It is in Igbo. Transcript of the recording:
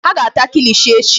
Ha ga-ata kilishi echi.